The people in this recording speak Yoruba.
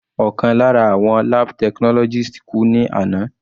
Ọ̀kan lára àwọn lab technologist kú ní àná.